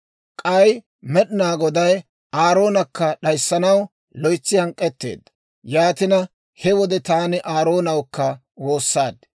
K'ay Med'inaa Goday Aaroonakka d'ayissanaw loytsi hank'k'etteedda; yaatina, he wode taani Aaroonawukka woossaad.